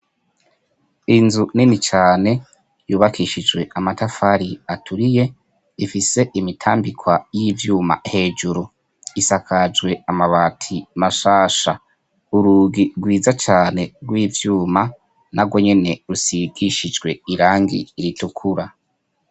Inzu nini cane yubakishijwe amatafari aturiye ifise imitambikwa hejuru y'ivyuma, isakajwe amabati mashasha, urugi rwiza cane rw'ivyuma narwo nyene rusigishijwe irangi ritukura.